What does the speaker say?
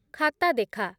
ଖାତା ଦେଖା